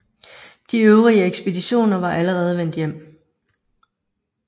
De øvrige ekspeditioner var allerede vendt hjem